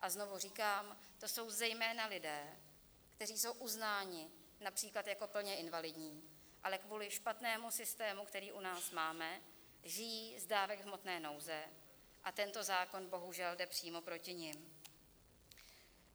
A znovu říkám, to jsou zejména lidé, kteří jsou uznáni například jako plně invalidní, ale kvůli špatnému systému, který u nás máme, žijí z dávek hmotné nouze, a tento zákon bohužel jde přímo proti nim.